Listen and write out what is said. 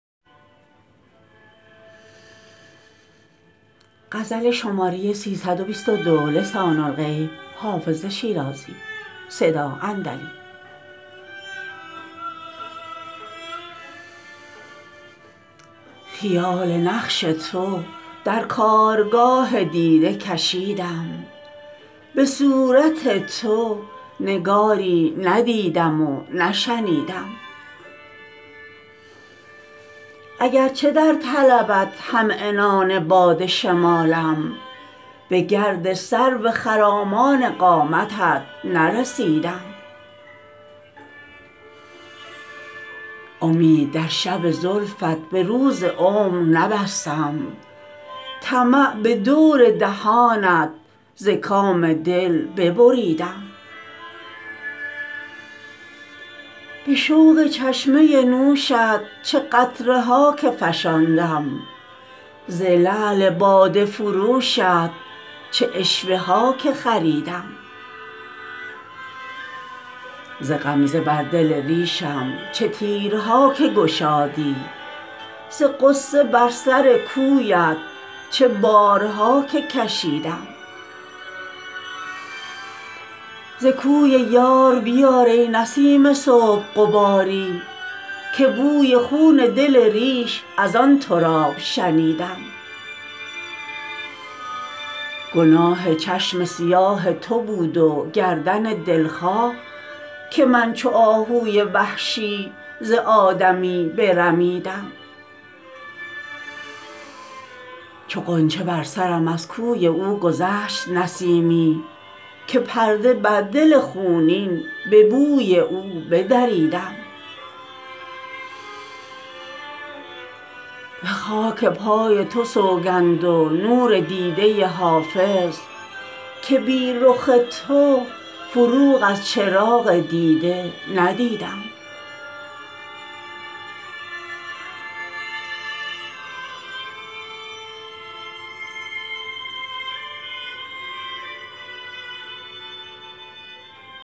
خیال نقش تو در کارگاه دیده کشیدم به صورت تو نگاری ندیدم و نشنیدم اگرچه در طلبت هم عنان باد شمالم به گرد سرو خرامان قامتت نرسیدم امید در شب زلفت به روز عمر نبستم طمع به دور دهانت ز کام دل ببریدم به شوق چشمه نوشت چه قطره ها که فشاندم ز لعل باده فروشت چه عشوه ها که خریدم ز غمزه بر دل ریشم چه تیرها که گشادی ز غصه بر سر کویت چه بارها که کشیدم ز کوی یار بیار ای نسیم صبح غباری که بوی خون دل ریش از آن تراب شنیدم گناه چشم سیاه تو بود و گردن دلخواه که من چو آهوی وحشی ز آدمی برمیدم چو غنچه بر سرم از کوی او گذشت نسیمی که پرده بر دل خونین به بوی او بدریدم به خاک پای تو سوگند و نور دیده حافظ که بی رخ تو فروغ از چراغ دیده ندیدم